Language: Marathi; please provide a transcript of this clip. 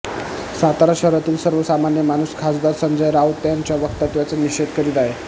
सातारा शहरातील सर्वसामान्य माणूस खासदार संजय राऊत यांच्या वक्तव्याचा निषेध करीत आहे